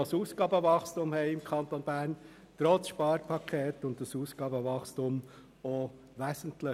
Tatsache ist, dass wir im Kanton Bern trotz Sparpaket immer noch ein Ausgabenwachstum haben.